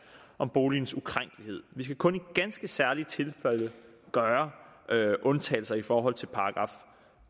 om boligens ukrænkelighed vi skal kun i ganske særlige tilfælde gøre undtagelser i forhold til §